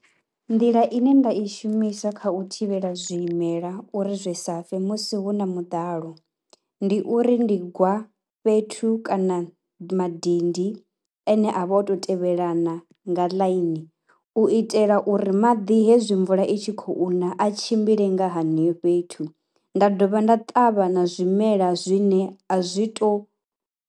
Nḓila ine nda i shumisa kha u thivhela zwimela uri zwe sa fe musi hu na muḓalo, ndi uri ndi gwa fhethu kana madindi ane a vha tou tevhelana nga ḽaini u itela uri maḓi hezwi mvula i tshi khou na a tshimbile nga haneyo fhethu, nda dovha nda ṱavha na zwimela zwine a zwi tou.